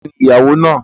Ta ni ìyàwó náà?